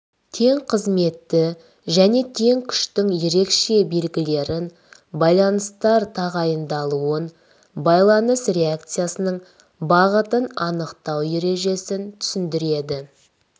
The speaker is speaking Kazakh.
тең қызметті және тең күштің ерекше белгілерін байланыстар тағайындалуын байланыс реакциясының бағытын анықтау ережесін түсіндіреді